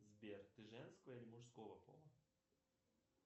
сбер ты женского или мужского пола